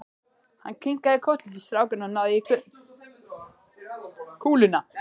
Hann kinkaði kolli til strákanna og náði í kúluna.